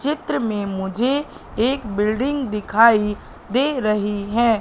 चित्र में मुझे एक बिल्डिंग दिखाई दे रही है।